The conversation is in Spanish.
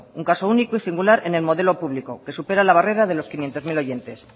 un caso único y singular en el modelo público que supera la barrera de los quinientos mil oyentes